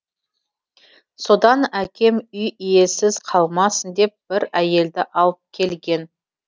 содан әкем үй иесіз қалмасын деп бір әйелді алып келген